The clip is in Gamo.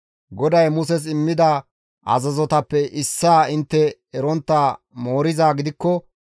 « ‹GODAY Muses immida azazotappe issaa intte erontta moorizaa gidikko,